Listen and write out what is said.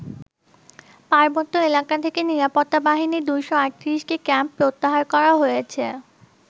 পার্বত্য এলাকা থেকে নিরাপত্তা বাহিনীর ২৩৮টি ক্যাম্প প্রত্যাহার করা হয়েছে।